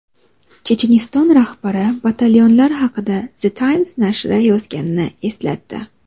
Checheniston rahbari batalyonlar haqida The Times nashri yozganini eslatdi.